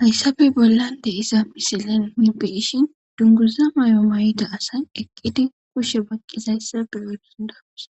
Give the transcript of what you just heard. hayssappe bollan de'iza misilen nun be'ishn dunguza mayo mayida asay eqqidi kushshe baqqizayssa beyo danda'osi